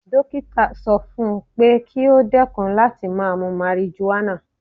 Dókítà sọ fún pé kí ó dẹ́kun láti máa mu marijuana.